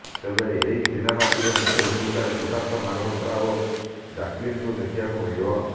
ତେବେ ଏହି ସିନେମାଟିରେ ମୁଖ୍ୟ ଭୂମିକାରେ ସିଦ୍ଦାର୍ଥ ମାଲୋହୋତ୍ରା ଓ ଜ୍ୟାକଲିନଙ୍କୁ ଦେଖିବାକୁ ମିଳିବ